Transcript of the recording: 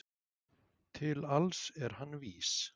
Til alls er hann vís